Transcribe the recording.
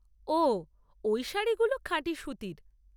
ওহ, ওই শাড়িগুলো খাঁটি সুতির।